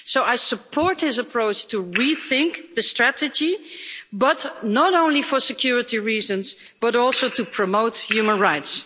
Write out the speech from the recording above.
So I support his approach to rethink the strategy, but not only for security reasons also to promote human rights.